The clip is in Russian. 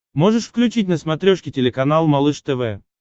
можешь включить на смотрешке телеканал малыш тв